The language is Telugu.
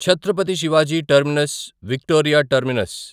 Chhatrapati Shivaji terminus Victoria terminus